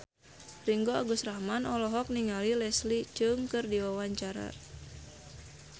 Ringgo Agus Rahman olohok ningali Leslie Cheung keur diwawancara